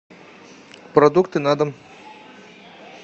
продукты на дом